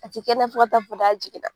A ti kɛnɛya fo ka taa fɔ k'a jigin na.